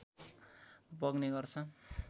बग्ने गर्छन्